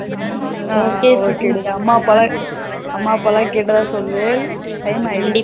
ஹம் okay okay டி அம்மா அப்பாலாம் கேட்டதா சொல்லூ time ஆகிடுச்சி